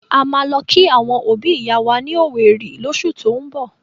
A máa lọ kí àwọn òbi ìyá wa ní owerri llósù tín bọ̀.